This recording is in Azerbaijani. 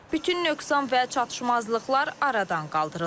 Bütün nöqsan və çatışmazlıqlar aradan qaldırılır.